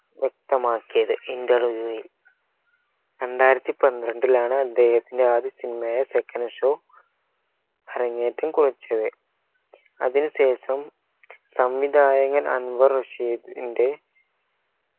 വ്യക്തമാക്കിയത് interview വിൽ രണ്ടായിരത്തി പന്ത്രണ്ടിലാണ് അദ്ദേഹത്തിൻറെ ആദ്യ cinema യായ second show അരങ്ങേറ്റം കുറിച്ചത് അതിന് ശേഷം സംവിധായകൻ അൻവർ റഷീദിൻറെ